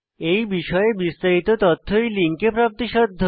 এই বিষয়ে বিস্তারিত তথ্য এই লিঙ্কে প্রাপ্তিসাধ্য